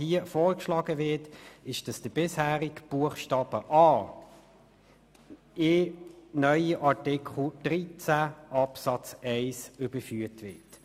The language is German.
Hier wird vorgeschlagen, dass der bisherige Buchstabe a in den neuen Artikel 13 Absatz 1 überführt wird.